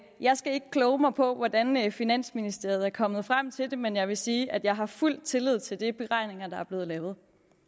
jeg skal ikke kloge mig på hvordan finansministeriet er kommet frem til det men jeg vil sige at jeg har fuld tillid til de beregninger der er blevet lavet